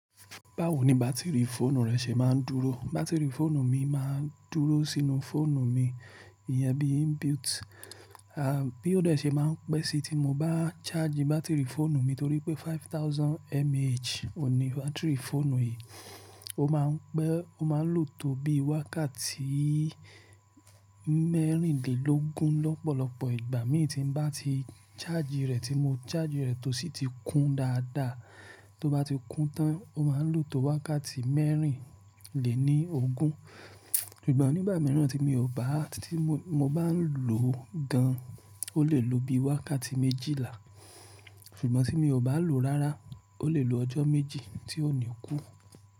Báwo ni bátìrì fóònù rẹ ṣe máa ń dúró? Bátìrì fóònù mi máa ń dúró sínú fóònù mi, ìyẹn bí inbuilt. À, bí ó ṣe máa ń pẹ́ sí tí mo bá ṣaaji bátìrì fóònù mi torí pé five thousand mah òun ní bátìrì fóònù yìí. Ó máa ń pẹ́, ó máa ń lò tó bí wákàtí mẹ́rìnlélógún lọ́pọ̀lọpọ̀ ìgbà mí ì tí ń bá ti chaaji rẹ̀, tí mo chaaji rẹ̀ tó sì ti kún dáadáa. Tó bá ti kún tán, ó máa ń lò tó wákàtí mẹ́rìnléníogún. Ṣùgbọ́n nígbà mìíràn tí mi ò bá, tí mo, mo bá ń lò gan, ó lè lo bí i wákàtí méjìlá. Ṣùgbọ́n tí mi ò bá lò rára, ó lè lo ọjọ́ méjì tí ó ni kú.